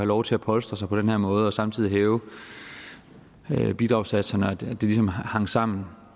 lov til at polstre sig på den her måde og samtidig hæve bidragssatserne og hvordan det ligesom hang sammen